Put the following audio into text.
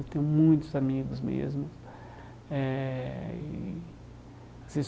Eu tenho muitos amigos mesmo eh e.